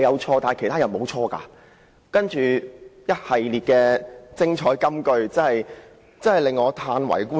"他其後一系列的精彩金句真的叫我歎為觀止。